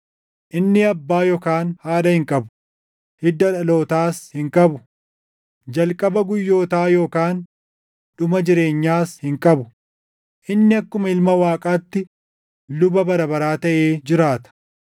Inni abbaa yookaan haadha hin qabu; hidda dhalootaas hin qabu; jalqaba guyyootaa yookaan dhuma jireenyaas hin qabu; inni akkuma Ilma Waaqaatti luba bara baraa taʼee jiraata.